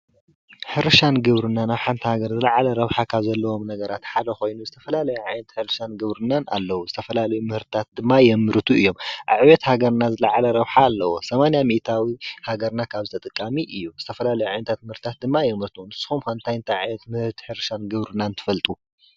ሕርሻን ግብርናን ንሓንቲ ሃገር ዝልዓለ ረብሓ ካብ ዘለዎም ነገራት ሓደ ኮይኑ ዝተፈላለየ ዓይነታት ሕርሻን ግብርናን ኣለው። ዝተፈላለዩ ምህርትታት ድማ የምርቱ እዮም። ኣብ ዕብየት ሃገርና ዝላዕለ ረብሓ ኣለዎ። 80% ሃገርና ካብዚ ተጠቃሚ እዩ። ዝተፈላለየ ዓይነታት ምህርታት ድማ የምርቱ። ንስኩም ከ እንታይ እንታይ ዓይነት ምህርቲ ሕርሻን ግብርናን ትፈልጡ?